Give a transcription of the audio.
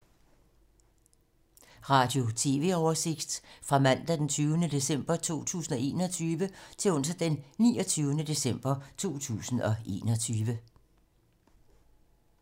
Radio/TV oversigt fra mandag d. 20. december 2021 til onsdag d. 29. december 2021